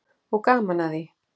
Og gaman að því.